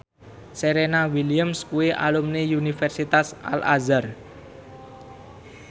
Serena Williams kuwi alumni Universitas Al Azhar